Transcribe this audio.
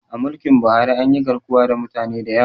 A mulkin Buhari anyi garkuwa da mutane da yawa